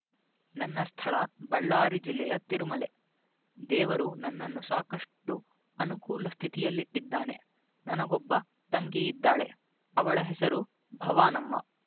ನನ್ನ ಸ್ಥಳ ಬಳ್ಳಾರಿ ಜಿಲ್ಲೆಯ ತಿರುಮಲೆ ದೇವರು ನನ್ನನ್ನು ಸಾಕಷ್ಟು ಅನುಕೂಲ ಸ್ಥಿತಿಯಲ್ಲಿಟ್ಟಿದ್ದಾನೆ ನನಗೊಬ್ಬ ತಂಗಿಯಿದ್ದಾಳೆ ಅವಳ ಹೆಸರು ಭವಾನಮ್ಮ